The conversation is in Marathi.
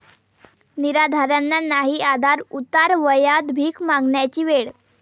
निराधारांना नाही आधार, उतारवयात भीक मागण्याची वेळ!